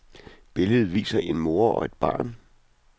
Billedet viser en mor og et barn.